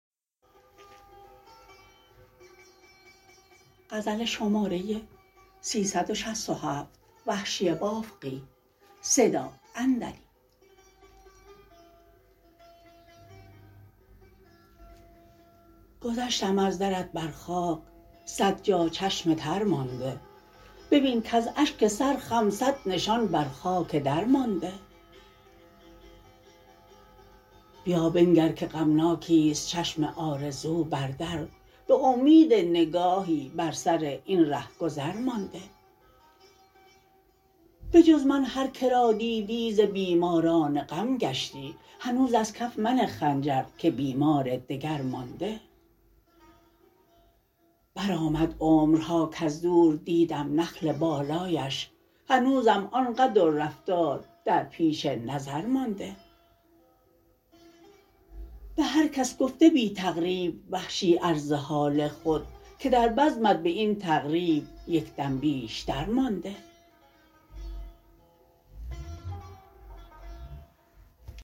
گذشتم از درت بر خاک سد جا چشم تر مانده ببین کز اشک سرخم سد نشان بر خاک در مانده بیا بنگر که غمناکیست چشم آرزو بر در به امید نگاهی بر سراین رهگذر مانده بجز من هر کرا دیدی ز بیماران غم گشتی هنوز از کف منه خنجر که بیمار دگر مانده برآمد عمرها کز دور دیدم نخل بالایش هنوزم آن قد و رفتار در پیش نظر مانده به هر کس گفته بی تقریب وحشی عرض حال خود که در بزمت به این تقریب یک دم بیشتر مانده